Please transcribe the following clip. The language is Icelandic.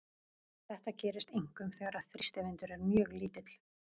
Þetta gerist einkum þegar þrýstivindur er mjög lítill.